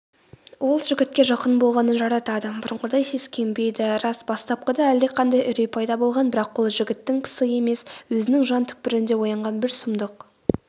ол жігітке жақын болғанын жаратады бұрынғыдай сескенбейді рас бастапқыда әлдеқандай үрей пайда болған бірақ ол жігіттің пысы емес өзінің жан түкпірінде оянған бір сұмдық